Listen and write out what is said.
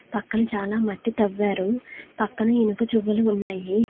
పక్కన చాలా మట్టి తవ్వారు. పక్కన ఇనుప జువ్వలు ఉన్నాయి.